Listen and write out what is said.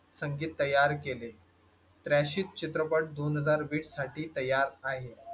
संगीत तयार केले. त्र्या चित्रपट दोन हजार बीस साठी तयार आहे.